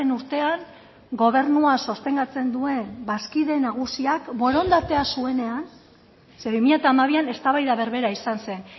urtean gobernua sostengatzen duen bazkide nagusiak borondatea zuenean ze bi mila hamabian eztabaida berbera izan zen